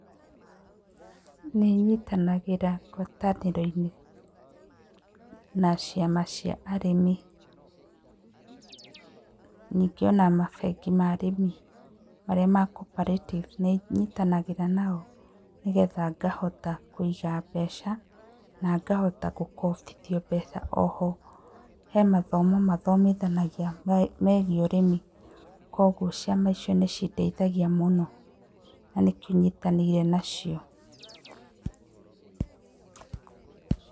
Nĩ nyitanagĩra ngwataniro-inĩ na ciama cia arĩmi, ningĩ ona mabengi ma arĩmi marĩa ma Cooperative nĩ nyitanagĩra nao nĩgetha ngahota kũiga mbeca ngahota gũkombithio mbeca oho he mathomo mathomithanagia megie ũrĩmi kwoguo ciama icio nĩ cindeithagia mũno na nĩkĩo nyitanĩire nacio.